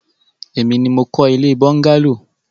Èmi ni mo kọ́ ilé bọ́ńgálò.